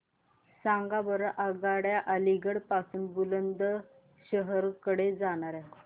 सांगा बरं आगगाड्या अलिगढ पासून बुलंदशहर कडे जाणाऱ्या